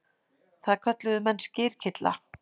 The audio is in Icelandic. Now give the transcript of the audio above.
Það kölluðu menn skyrkylla.